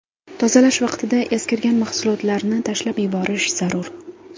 Tozalash vaqtida eskirgan mahsuotlarni tashlab yuborish zarur.